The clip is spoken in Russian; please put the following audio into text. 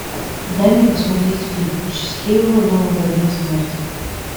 дай мне посмотреть фильм счастливого нового дня смерти